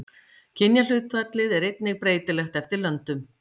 Kynjahlutfallið er einnig breytilegt eftir löndum.